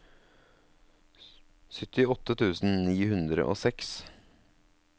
syttiåtte tusen ni hundre og seks